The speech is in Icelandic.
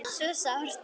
Svo sárt.